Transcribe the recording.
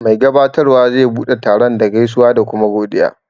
Mai gabatarwa zai bude taron da gaisuwa da kuma godiya.